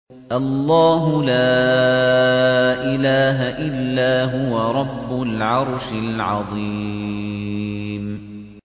اللَّهُ لَا إِلَٰهَ إِلَّا هُوَ رَبُّ الْعَرْشِ الْعَظِيمِ ۩